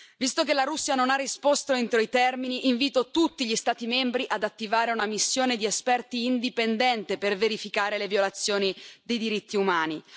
Visto che la Russia non ha risposto entro i termini, invito tutti gli Stati membri ad attivare una missione di esperti indipendente per verificare le violazioni dei diritti umani.